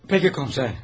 Pəki komiser.